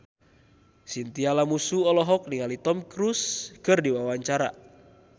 Chintya Lamusu olohok ningali Tom Cruise keur diwawancara